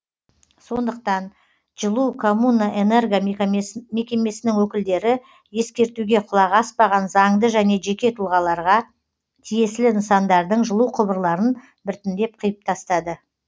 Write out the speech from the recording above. сондықтан жылукоммунэнерго мекемесінің өкілдері ескертуге құлақ аспаған заңды және жеке тұлғаларға тиесілі нысандардың жылу құбырларын біртіндеп қиып тастады